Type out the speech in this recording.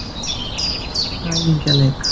Komum í ræningjaleik.